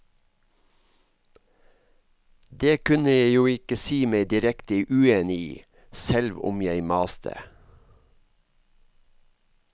Det kunne jeg jo ikke si meg direkte uenig i, selv om jeg maste.